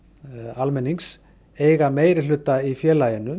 almennings eiga meirihluta í félaginu